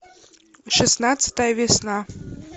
шестнадцатая весна